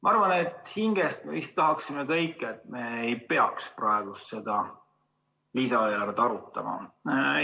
Ma arvan, et hinges me tahame kõik, et me ei peaks praegu seda lisaeelarvet arutama.